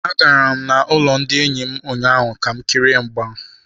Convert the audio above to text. Agara m n'ụlọ ndị enyi m ụnyaahụ ka m kirie mgba.